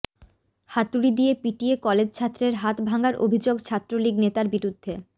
হাতুড়ি দিয়ে পিটিয়ে কলেজছাত্রের হাত ভাঙার অভিযোগ ছাত্রলীগ নেতার বিরুদ্ধে